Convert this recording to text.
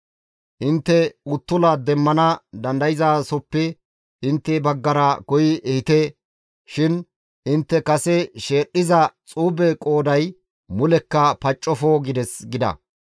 Intte uttula demmana dandayzasoppe intte baggara koyi ehite shin intte kase sheedhdhiza xuube qooday mulekka paccofo› gides» gida.